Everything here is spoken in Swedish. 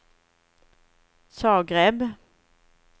Zagreb